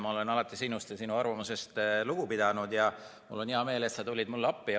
Ma olen alati sinust ja sinu arvamusest lugu pidanud ja mul on hea meel, et sa tulid mulle appi.